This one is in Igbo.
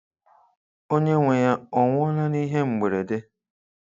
Onye nwe ya, ọ nwụọla n'ihe mberede?